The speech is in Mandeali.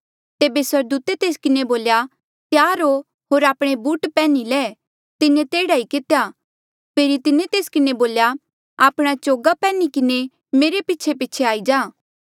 तेबे स्वर्गदूते तेस किन्हें बोल्या त्यार हो होर आपणे बूट पैन्ही ले तिन्हें तेह्ड़ा ई कितेया फेरी तिन्हें तेस किन्हें बोल्या आपणा चोगा पैन्ही किन्हें मेरे पीछेपीछे आई जा